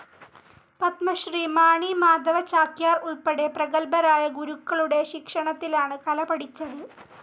പത്മശ്രീ മാണി മാധവ ചാക്യാർ ഉൾപ്പെടെ പ്രഗല്ഭരായ ഗുരുക്കളുടെശിക്ഷണത്തിലാണ് കല പഠിച്ചത്.